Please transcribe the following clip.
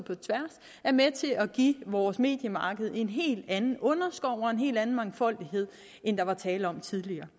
er med til at give vores mediemarked en helt anden underskov og en helt anden mangfoldighed end der var tale om tidligere